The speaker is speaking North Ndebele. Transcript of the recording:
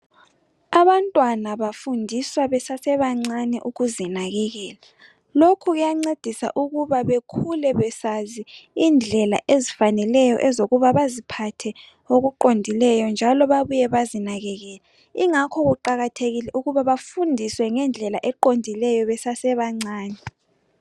Abantwana bafundiswa besasebancane ukuzinakakela. Lokhu kuyancedisa ukuba bekhule besazi indlela ezifaneleyo zokuba baziphathe okuqondileyo njalo babuye bazinakakele. Ingakho kuqakathekile ukuthi bafundiswe ngendlela eqondileyo besasebancane.